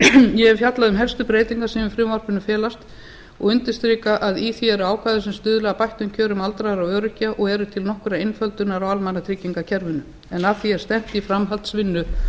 ég hef fjallað um helstu breytingar sem í frumvarpinu felast og undirstrika að í því eru ákvæði sem stuðla að bættum kjörum aldraðra og öryrkja og eru til nokkurrar einföldunar á almannatryggingakerfinu en að því er stefnt í framhaldsvinnu